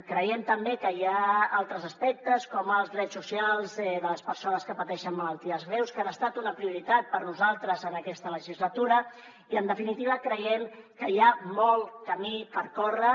creiem també que hi ha altres aspectes com els drets socials de les persones que pateixen malalties greus que han estat una prioritat per nosaltres en aquesta legislatura i en definitiva creiem que hi ha molt camí per córrer